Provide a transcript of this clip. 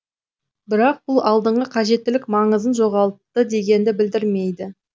бірақ бұл алдыңғы қажеттілік маңызын жоғалтты дегенді білдірмейді